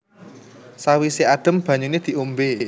Sawise adem banyune diombe